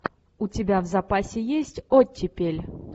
у тебя в запасе есть оттепель